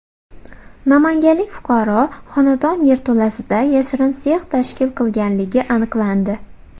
Namanganlik fuqaro xonadon yerto‘lasida yashirin sex tashkil qilganligi aniqlandi.